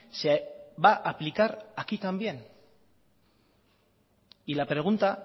se va a aplicar aquí también y la pregunta